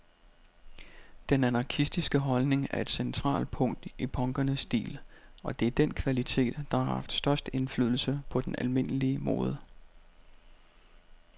Den anarkistiske holdning er et centralt punkt i punkernes stil, og det er den kvalitet, der har haft størst indflydelse på den almindelige mode.